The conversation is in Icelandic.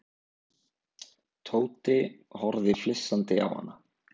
Tóti horfði flissandi á hana.